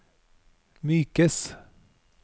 mykes